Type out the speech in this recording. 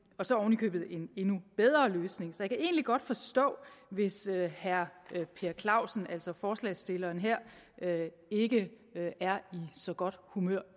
og så oven i købet en endnu bedre løsning så egentlig godt forstå hvis herre per clausen altså forslagsstilleren her ikke er i så godt humør